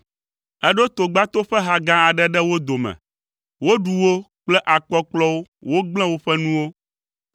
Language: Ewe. Eɖo togbato ƒe ha gã aɖe ɖe wo dome, woɖu wo kple akpɔkplɔwo wogblẽ woƒe nuwo.